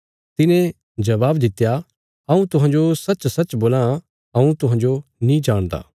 तिने जबाब दित्या हऊँ तुहांजो सच्चसच्च बोलां हऊँ तुहांजो नीं जाणदा